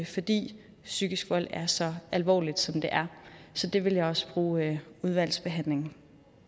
fordi psykisk vold er så alvorligt som det er så det vil jeg også bruge udvalgsbehandlingen